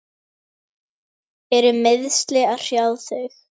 Eru meiðsli að hrjá þig?